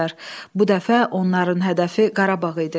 Bu dəfə onların hədəfi Qarabağ idi.